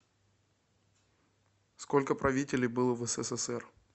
сколько правителей было в ссср